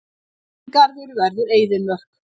Aldingarður verður eyðimörk.